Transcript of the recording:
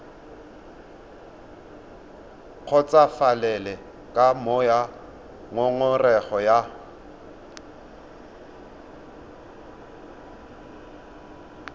kgotsofalele ka moo ngongorego ya